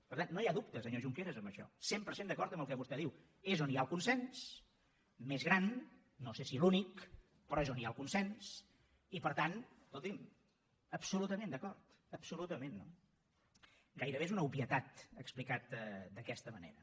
per tant no hi ha dubte senyor junqueras en això cent per cent d’acord amb el que vostè diu és on hi ha el consens més gran no sé si l’únic però és on hi ha el consens i per tant escolti’m absolutament d’acord absolutament no gairebé és una obvietat explicat d’aquesta manera